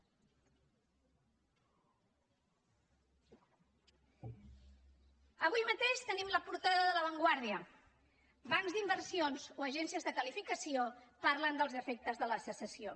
avui mateix tenim la portada de la vanguardia bancs d’inversions o agències de qualificació parlen dels efectes de la secessió